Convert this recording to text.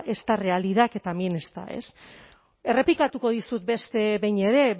esta realidad que también está errepikatuko dizut beste behin ere